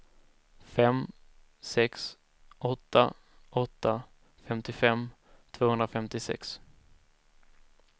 fem sex åtta åtta femtiofem tvåhundrafemtiosex